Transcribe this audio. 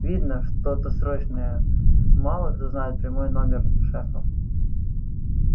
видно что-то срочное мало кто знает прямой номер шефа